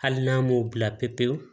Hali n'an m'o bila pewu pewu